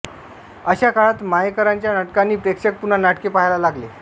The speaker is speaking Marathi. अशा काळात मयेकरांच्या नाटकांनी प्रेक्षक पुन्हा नाटके पहायला लागले